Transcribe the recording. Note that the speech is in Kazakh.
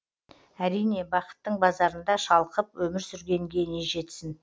әрине бақыттың базарында шалқып өмір сүргенге не жетсін